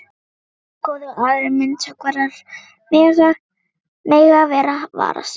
Svo góður að aðrir myndhöggvarar mega vara sig.